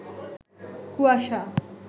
কুয়াশা